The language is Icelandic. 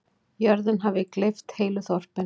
Jörðin hafi gleypt heilu þorpin.